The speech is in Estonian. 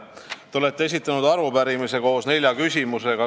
Te olete esitanud arupärimise koos nelja küsimusega.